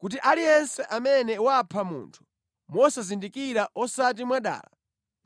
kuti aliyense amene wapha munthu mosazindikira osati mwadala